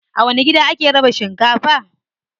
A wani gida ake raba shinkafa?